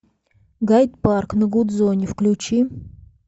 гайд парк на гудзоне включи